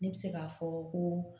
Ne bɛ se k'a fɔ ko